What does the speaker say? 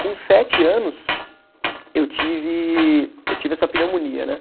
Com sete anos, eu tive, eu tive essa pneumonia, né?